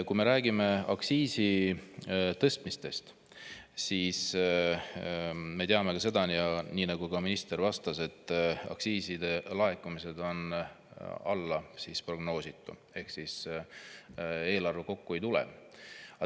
Kui me räägime aktsiisitõstmistest, siis me teame seda, nii nagu ka minister vastas, et aktsiiside laekumine on alla prognoositu ehk siis eelarve kokku ei tule.